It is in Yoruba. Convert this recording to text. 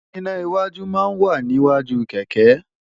iná́ iwájú máa ń wà níwájú kẹ̀kẹ́